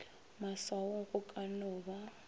maswaong go ka no ba